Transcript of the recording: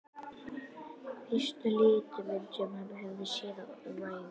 Fyrsta litmyndin sem hann hafði séð um ævina.